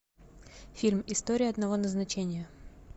фильм история одного назначения